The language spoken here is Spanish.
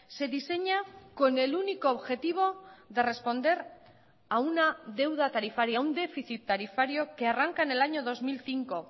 se diseña con el único objetivo de responder a una deuda tarifaria un déficit tarifario que arranca en el año dos mil cinco